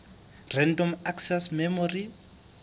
random access memory